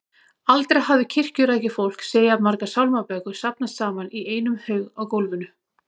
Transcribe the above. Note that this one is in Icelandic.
Aldrei hafði kirkjurækið fólk séð jafn margar sálmabækur safnast saman í einum haug á gólfinu.